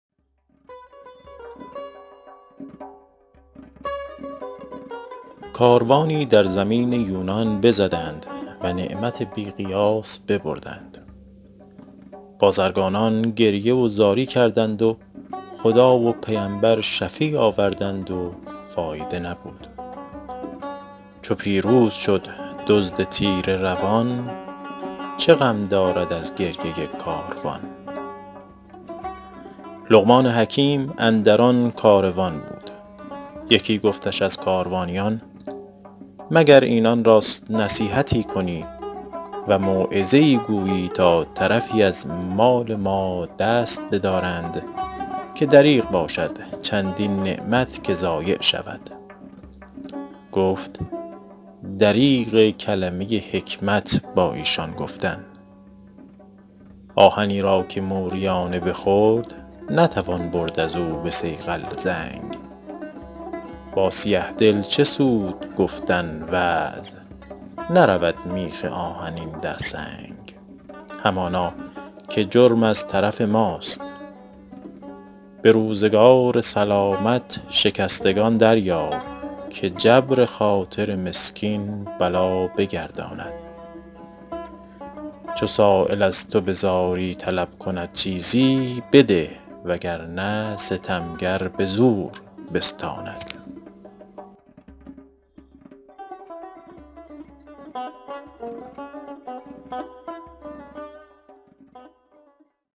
کاروانی در زمین یونان بزدند و نعمت بی قیاس ببردند بازرگانان گریه و زاری کردند و خدا و پیمبر شفیع آوردند و فایده نبود چو پیروز شد دزد تیره روان چه غم دارد از گریه کاروان لقمان حکیم اندر آن کاروان بود یکی گفتش از کاروانیان مگر اینان را نصیحتی کنی و موعظه ای گویی تا طرفی از مال ما دست بدارند که دریغ باشد چندین نعمت که ضایع شود گفت دریغ کلمه حکمت با ایشان گفتن آهنی را که موریانه بخورد نتوان برد از او به صیقل زنگ با سیه دل چه سود گفتن وعظ نرود میخ آهنی در سنگ همانا که جرم از طرف ماست به روزگار سلامت شکستگان دریاب که جبر خاطر مسکین بلا بگرداند چو سایل از تو به زاری طلب کند چیزی بده وگرنه ستمگر به زور بستاند